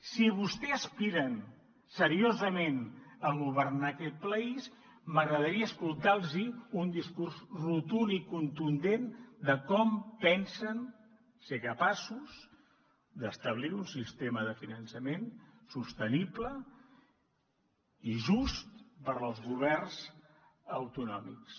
si vostès aspiren seriosament a governar aquest país m’agradaria escoltar los un discurs rotund i contundent de com pensen ser capaços d’establir un sistema de finançament sostenible i just per als governs autonòmics